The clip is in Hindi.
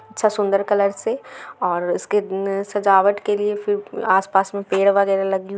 च्छा-- सुंदर कलर से और इसके सजावट के लिए फिर आस पास में पेड़ वगेरा लगी--